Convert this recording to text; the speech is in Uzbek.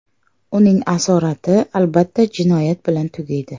Uning asorati albatta jinoyat bilan tugaydi.